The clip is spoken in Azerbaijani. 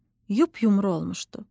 Yup-yumru olmuşdu.